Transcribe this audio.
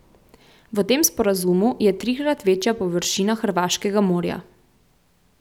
V tem sporazumu je trikrat večja površina hrvaškega morja.